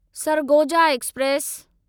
Sargodha express